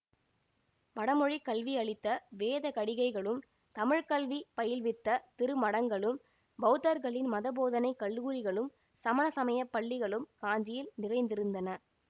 வடமொழிக் கல்வி அளித்த வேத கடிகைகளும் தமிழ் கல்வி பயில்வித்த திருமடங்களும் பௌத்தர்களின் மதபோதனைக் கல்லூரிகளும் சமண சமய பள்ளிகளும் காஞ்சியில் நிறைந்திருந்தன